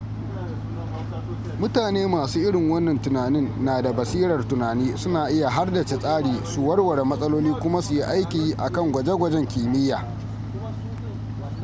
mutane masu irin wannan tunanin na da basirar tunani suna iya hardace tsari su warware matsaloli kuma su yi aiki akan gwaje-gwajen kimiyya